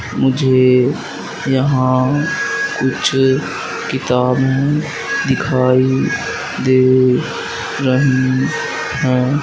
मुझे यहां कुछ किताबें दिखाई दे रही हैं।